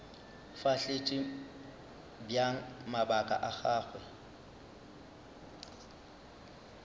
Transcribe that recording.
fahletše bjang mabaka a gagwe